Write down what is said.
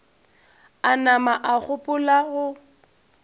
a nama a gopola go